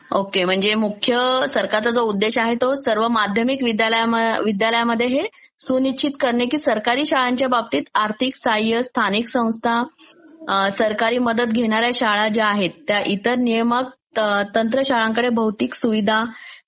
okay म्हणजे मुख्य सरकारचा जो उद्देश आहे तो सर्व माध्यमिक विद्यालयामध्ये हे सुनिश्चित करणे की सरकारी शाळांच्या बाबतीत आर्थिक साहाय्य स्थानिक संस्था अं...सरकारी मदत घेणाऱ्या शाळा ज्या आहेत त्या इतर नियमक तंत्रशाळांकडे भौतिक सुविधा